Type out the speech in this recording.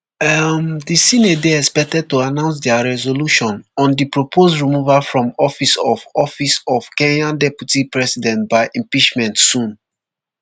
um di senate dey expected to announce dia resolution on di proposed removal from office of office of kenya deputy president by impeachment soon